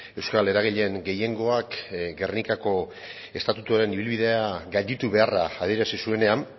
euskal eragileen gehiengoak gernikako estatutuaren ibilbidea gainditu beharra adierazi zuenean